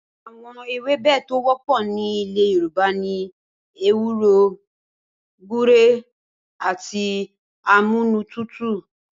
Awo̩n ewébè tó wó̩pò̩ ní ilè̩ Yorùba ni ewúro, gúre, àti amúnútutù